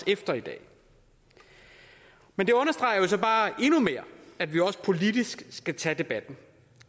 efter i dag men det understreger jo så bare endnu mere at vi også politisk skal tage debatten